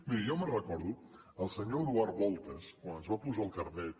miri jo me’n recordo el senyor eduard voltas quan ens va posar el carnet